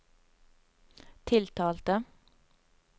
tiltalte